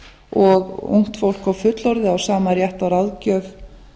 og ungt fólk og fullorðið á sama rétt á ráðgjöf